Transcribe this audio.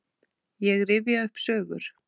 Ég rifja upp sögur.